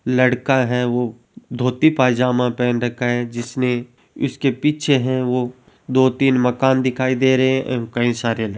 लड़का है वो धोती पायजामा पहन रखा है जिसने इसके पीछे है वो दो तीन मकान दिखाई दे रहे है कई सारे ल --